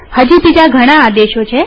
હજી બીજા ઘણા આદેશો છે